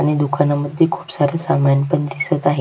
आणि दुकानमध्ये खुप सारे समान पण दिसत आहे.